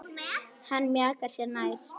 Hann mjakar sér nær.